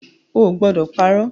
Ó gbọ́dọ̀ parọ̀!